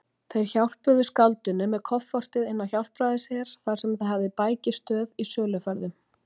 Þeir hjálpuðu skáldinu með koffortið inn á Hjálpræðisher, þar sem það hafði bækistöð í söluferðum.